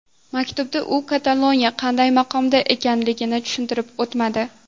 Maktubda u Kataloniya qanday maqomda ekanligini tushuntirib o‘tmadi.